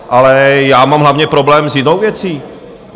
Ale já mám hlavně problém s jinou věcí.